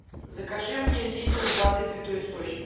закажи мне литр воды святой источник